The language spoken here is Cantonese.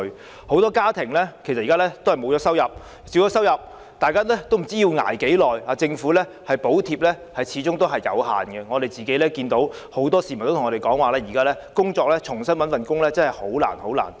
現時很多家庭已沒有收入，或是收入已減少，大家也不知要捱多長時間，而政府的補貼始終有限，很多市民也向我們表示現時重新找工作真的很難。